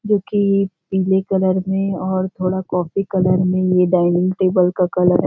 जो कि पीले कलर में और थोड़ा कॉफी कलर में यह डाइनिंग टेबल का कलर है ।